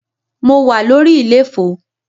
Mo wà lórí iléfo.